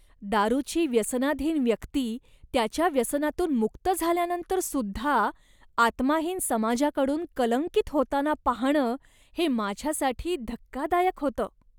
दारूची व्यसनाधीन व्यक्ती त्याच्या व्यसनातून मुक्त झाल्यानंतरसुद्धा आत्माहीन समाजाकडून कलंकित होताना पाहणं हे माझ्यासाठी धक्कादायक होतं.